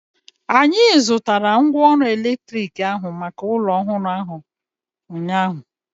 Anyị zụtara mgwooru elektriki ahu maka ụlọ ọhụrụ ahu ụnyaahụ